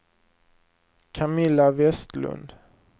Camilla Vestlund